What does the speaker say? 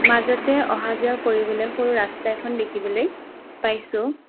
মাজতে অহাযোৱা কৰিবলৈ সৰু ৰাস্তা এখন দেখিবলৈ পাইছোঁ।